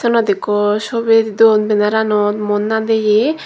siyenot ikko sobi don bennaranot muon nadeye.